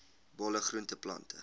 bolle groente plante